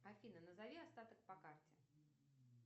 афина назови остаток по карте